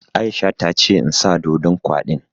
Aisha ta ce in sa ɗoɗon kwaɗin